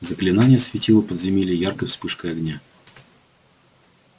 заклинание осветило подземелье яркой вспышкой огня